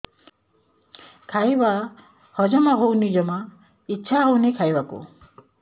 ଖାଇବା ହଜମ ହଉନି ଜମା ଇଛା ହଉନି ଖାଇବାକୁ